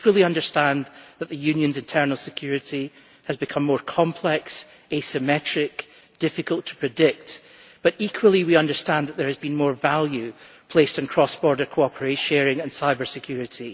We fully understand that the Union's internal security has become more complex, asymmetric and difficult to predict, but equally we understand that there has been more value placed on cross border cooperation, data sharing and cyber security.